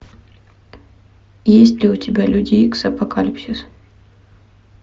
есть ли у тебя люди икс апокалипсис